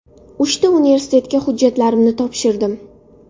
Uchta universitetiga hujjatlarimni topshirdim.